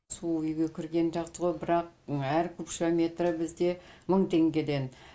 су үйге кіргені жақсы ғой бірақ әр кубша метрі бізде мың теңгеден